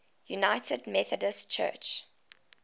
united methodist church